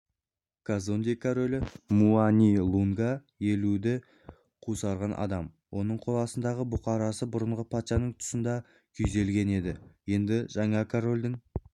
казонде королі муани-лунга елуді қусырған адам оның қоластындағы бұқарасы бұрынғы патшаның тұсында да күйзелген еді енді жаңа корольдің